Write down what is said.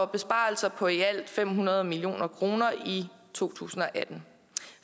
besparelser på i alt fem hundrede million kroner i to tusind og atten